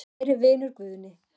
Kæri vinur Guðni.